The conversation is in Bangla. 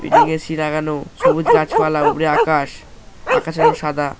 এ দিকে এ.সি. লাগানো সবুজ গাছপালা উপরে আকাশ আকাশ এর রং সাদা।